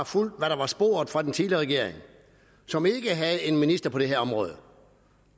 fulgt hvad der var sporet fra den tidligere regering som ikke havde en minister for det her område